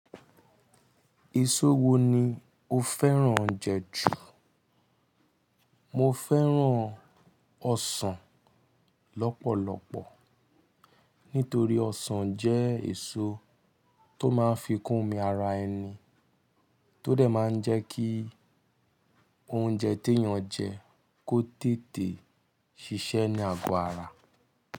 Èso wo ni o fẹ́ràn jẹ jù? Mo fẹ́ràn ọsàn lọ́pọ̀lọpọ̀ nítorí ọsàn jẹ́ èso tó máa ń fi kún mi ara ẹni, tó dẹ̀ máa ń jẹ́ kí oúnjẹ tí èèyàn jẹ kó tètè ṣiṣẹ́ ní àgọ́ ara.